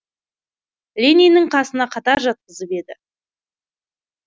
лениннің қасына қатар жатқызып еді